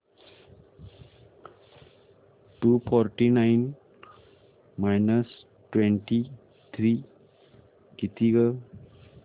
to forty nine minus twenty three किती गं